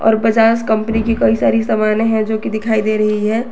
और बजाज कंपनी की कई सारी समाने हैं जोकि दिखाई दे रही है।